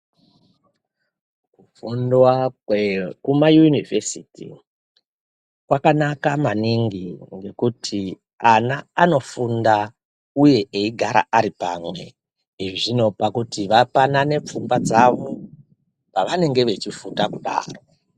Kufundiwa kwekumayunivhesiti kwakanaka maningi ngekuti vana vanofunda uye veigara varipamwe izvi zvinopa kuti vapanana pfungwadzavo pavange vachigunda kudaro.